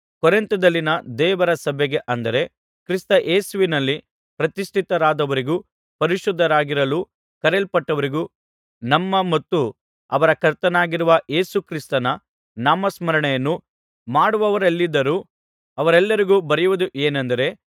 ಕೊರಿಂಥದಲ್ಲಿನ ದೇವರ ಸಭೆಗೆ ಅಂದರೆ ಕ್ರಿಸ್ತ ಯೇಸುವಿನಲ್ಲಿ ಪ್ರತಿಷ್ಠಿತರಾದವರಿಗೂ ಪರಿಶುದ್ಧರಾಗಿರಲು ಕರೆಯಲ್ಪಟ್ಟವರಿಗೂ ನಮ್ಮ ಮತ್ತು ಅವರ ಕರ್ತನಾಗಿರುವ ಯೇಸು ಕ್ರಿಸ್ತನ ನಾಮಸ್ಮರಣೆಯನ್ನು ಮಾಡುವವರೆಲ್ಲಿದ್ದರೂ ಅವರೆಲ್ಲರಿಗೂ ಬರೆಯುವುದು ಏನೆಂದರೆ